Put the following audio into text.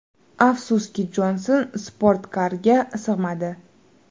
Afsuski, Jonson sportkarga sig‘madi.